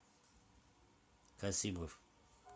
касимов